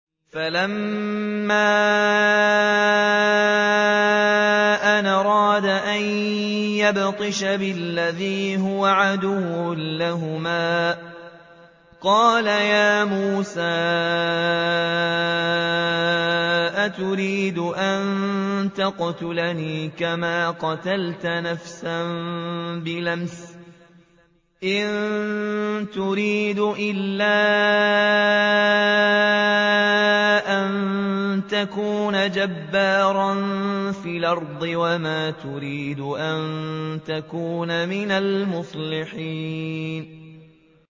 فَلَمَّا أَنْ أَرَادَ أَن يَبْطِشَ بِالَّذِي هُوَ عَدُوٌّ لَّهُمَا قَالَ يَا مُوسَىٰ أَتُرِيدُ أَن تَقْتُلَنِي كَمَا قَتَلْتَ نَفْسًا بِالْأَمْسِ ۖ إِن تُرِيدُ إِلَّا أَن تَكُونَ جَبَّارًا فِي الْأَرْضِ وَمَا تُرِيدُ أَن تَكُونَ مِنَ الْمُصْلِحِينَ